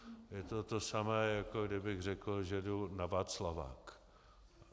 Je to to samé, jako kdybych řekl, že jdu na Václavák.